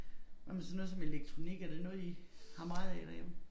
Hvad med sådan noget som elektronik er det noget I har meget af derhjemme?